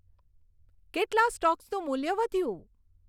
કેટલાં સ્ટોક્સનું મૂલ્ય વધ્યું